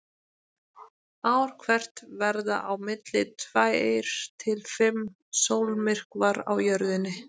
Ár hvert verða á milli tveir til fimm sólmyrkvar á Jörðinni.